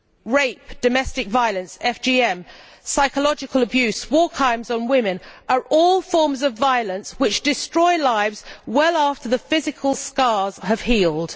Rape, domestic violence, FGM, psychological abuse and war crimes against women are all forms of violence which destroy lives well after the physical scars have healed.